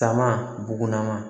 Taama bugunanama